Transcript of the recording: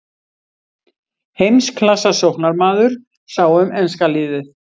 Heimsklassa sóknarmaður sá um enska liðið.